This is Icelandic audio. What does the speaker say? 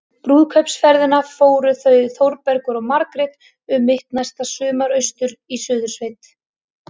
Brúðkaupsferðina fara þau Þórbergur og Margrét um mitt næsta sumar- austur í Suðursveit.